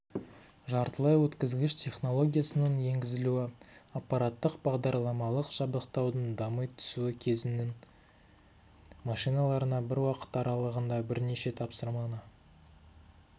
жартылай өткізгіш технологиясының енгізілуі аппараттық-бағдарламалық жабдықтаудың дами түсуі кезеңнің машиналарына бір уақыт аралығында бірнеше тапсырманы